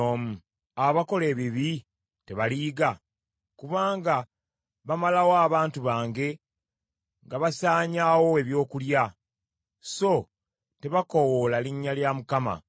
Abo bonna abakola ebibi tebaliyiga? Kubanga basaanyaawo abantu bange ng’abalya emmere; so tebakoowoola Mukama .